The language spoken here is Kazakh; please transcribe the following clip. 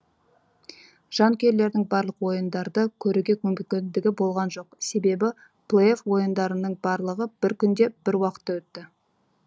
жанкүйерлердің барлық ойындарды көруге мүмкіндігі болған жоқ себебі плей офф ойындарының барлығы бір күнде бір уақытта өтті